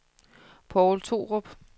Povl Thorup